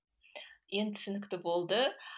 енді түсінікті болды